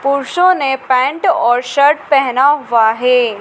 पुरुषों ने पैंट और शर्ट पहना हुआ है।